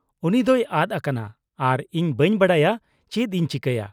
-ᱩᱱᱤ ᱫᱚᱭ ᱟᱫ ᱟᱠᱟᱱᱟ ᱟᱨ ᱤᱧ ᱵᱟᱹᱧ ᱵᱟᱰᱟᱭᱟ ᱪᱮᱫ ᱤᱧ ᱪᱤᱠᱟᱹᱭᱟ ᱾